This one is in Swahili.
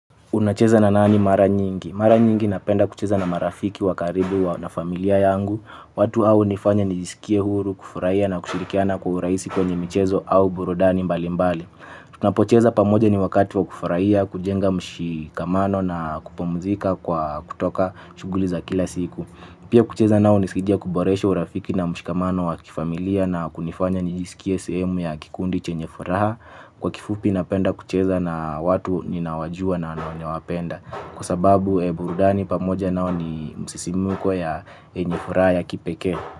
Unacheza na nani mara nyingi? Mara nyingi napenda kucheza na marafiki wa karibu na familia yangu. Watu hawa hunifanya nijisikie huru, kufurahia na kushirikiana kwa urahisi kwenye michezo au burudani mbali mbali. Tuna pocheza pamoja ni wakati wa kufarahia, kujenga mshikamano na kupumzika kwa kutoka shughuli za kila siku. Pia kucheza nao hunisiidia kuboresha urafiki na mshikamano wa kifamilia na kunifanya nijisikisie sehemu ya kikundi chenye furaha. Kwa kifupi napenda kucheza na watu ninawajua na nawapenda. Kwa sababu burudani pamoja nao ni msisimuko yenye furaha ya kipekee.